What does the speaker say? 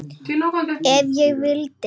Ef ég vildi.